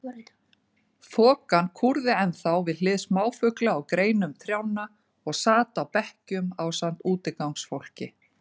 Þokan kúrði ennþá við hlið smáfugla á greinum trjánna og sat á bekkjum ásamt útigangsfólki.